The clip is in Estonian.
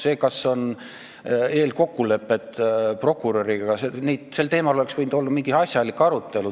Sel teemal, kas on eelkokkuleppeid prokuröriga, oleks võinud olla mingi asjalik arutelu.